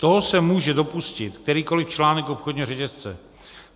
Toho se může dopustit kterýkoliv článek obchodního řetězce.